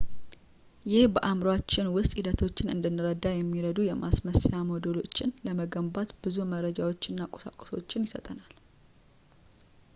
ይህ በአዕምሮአችን ውስጥ ሂደቶችን እንድንረዳ የሚረዱ የማስመሰያ ሞዴሎችን ለመገንባት ብዙ መረጃዎችን እና ቁሳቁሶችን ይሰጠናል